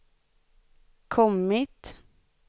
kommit